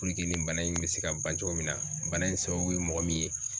nin bana in bɛ se ka ban cogo min na bana in sababu ye mɔgɔ min ye.